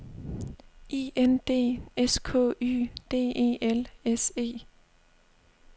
I N D S K Y D E L S E